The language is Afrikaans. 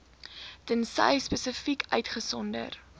tensy spesifiek uitgesonder